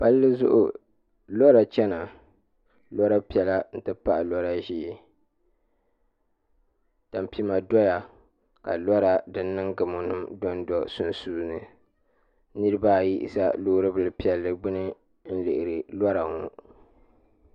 Palli zuɣu lora chɛna lora piɛla n ti pahi lora ʒiɛ tampima doya ka lora din niŋ gamo nim dondo di sunsuuni niraba ayi ʒɛ loori bili piɛlli gbuni n lihiri lora ŋɔ